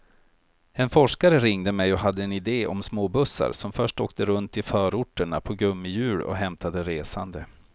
En forskare ringde mig och hade en idé om småbussar som först åkte runt i förorterna på gummihjul och hämtade resande.